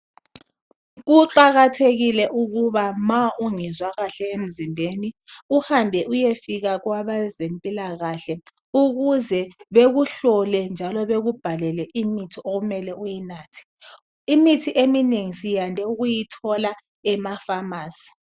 Kuqakathekile ukuba ma ungezwa kahle emzimbeni, uhambe uyefika kwabezempilakahle ukuze bekuhlole, njalo bekubhalele imithi okumele uyinathe. Imithi eminengi siyande ukuyithola emafamasi.